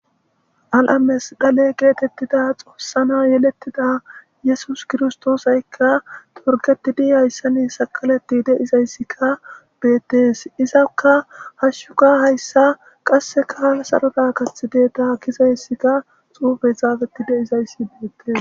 al7ames dale geetettida xoossana yelettida yesus kirstoosaykka torgetidi hayssani saqaleti deizayssikka beettees izakka hashshuka hayssa qasse kaal saroda kath deeta gizayssikka xuufe zaafetti deizayssi beettes